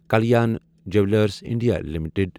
Kalyan jewellers India limited